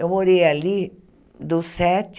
Eu morei ali dos sete,